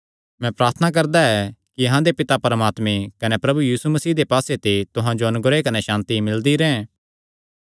मैं प्रार्थना करदा ऐ कि अहां दे पिता परमात्मे कने प्रभु यीशु मसीह दे पास्से ते तुहां जो अनुग्रह कने सांति मिलदी रैंह्